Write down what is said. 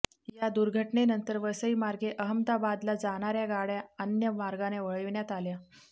या दुर्घटनेनंतर वसईमार्गे अहमदाबादला जाणाऱ्या गाड्या अन्य मार्गाने वळविण्यात आल्या